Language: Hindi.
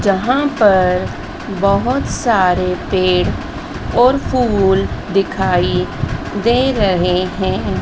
जहां पर बहोत सारे पेड़ और फूल दिखाई दे रहे है।